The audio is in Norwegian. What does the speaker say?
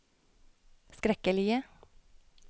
skrekkelige